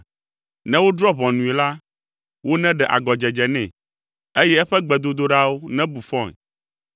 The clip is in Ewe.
Ne wodrɔ̃ ʋɔnui la, woneɖe agɔdzedze nɛ, eye eƒe gbedodoɖawo nebu fɔe.